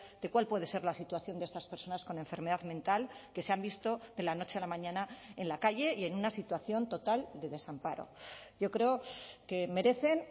de cuál puede ser la situación de estas personas con enfermedad mental que se han visto de la noche a la mañana en la calle y en una situación total de desamparo yo creo que merecen